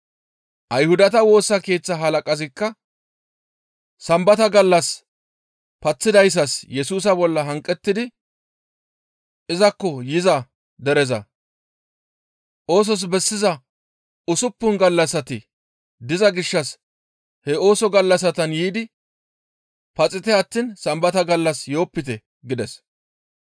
Ayhudata Woosa Keeththa halaqazikka Sambata gallas paththidayssas Yesusa bolla hanqettidi izakko yiza dereza, «Oosos bessiza usuppun gallassati diza gishshas he ooso gallassatan yiidi paxite attiin Sambata gallas yoopite» gides.